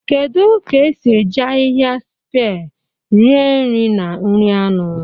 Kedu ka esi eji ahịhịa sipie rie nri na nri anụ?